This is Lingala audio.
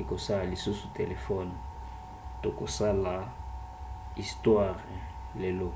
akosala lisusu telefone tokosala istware lelo